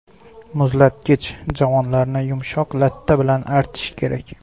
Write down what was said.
Muzlatgich javonlarini yumshoq latta bilan artish kerak.